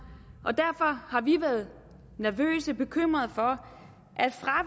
og derfor har vi været nervøse eller bekymrede for